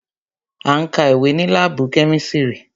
À ń ka ìwé ní láàbù kemisiri